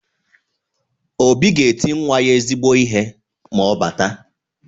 Obi ga-eti nwa ya ezigbo ihe ma ọ bata.